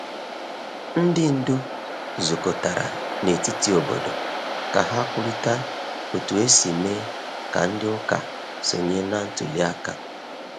Ndị ndu zukọtara na etiti obodo ka ha kwurịta otu esi mee ka ndị ụka sonye na ntuli aka.